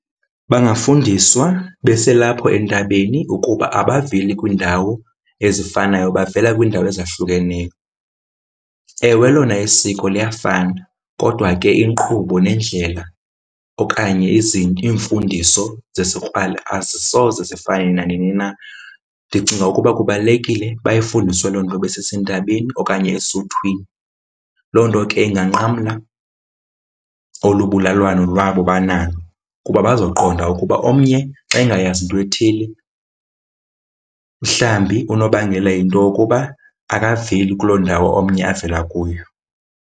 Bangafundiswa beselapho entabeni ukuba abaveli kwiindawo ezifanayo, bavela kwiindawo ezahlukeneyo. Ewe lona isiko liyafana kodwa ke inkqubo neendlela okanye iimfundiso zesikrwala azisoze zifane nanini na. Ndicinga ukuba kubalulekile bayifundiswe loo nto besesentabeni okanye esuthwini. Loo nto ke inganqamla olu bulwalwano lwabo banalo kuba bazakuqonda ukuba omnye xa engayazi into ethile, mhlawumbi unobangela yinto yokuba akaveli kuloo ndawo omnye avela kuyo.